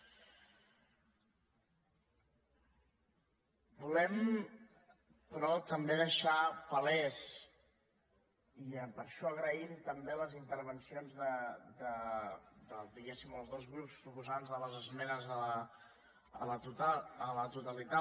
volem però també deixar palès i amb això agraïm també les intervencions dels dos grups proposants de les esmenes a la totalitat